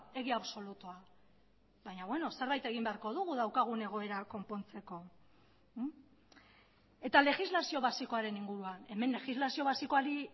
egia absolutua baina beno zerbait egin beharko dugu daukagun egoera konpontzeko eta legislazio basikoaren inguruan hemen legislazio basikoari